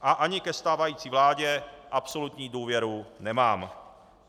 A ani ke stávající vládě absolutní důvěru nemám.